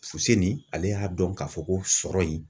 Fu se nin ale y'a dɔn k'a fɔ ko sɔrɔ in.